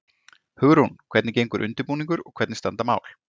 Hugrún, hvernig gengur undirbúningur og hvernig standa mál?